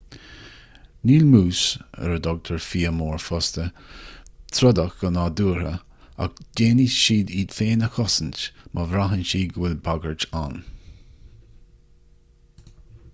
níl mús ar a dtugtar fia mór fosta trodach go nádúrtha ach déanfaidh siad iad féin a chosaint má bhraitheann siad go bhfuil bagairt ann